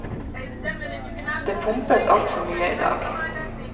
Det pumpes altfor mye i dag.